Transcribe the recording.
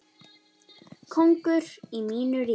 Kóngur í mínu ríki.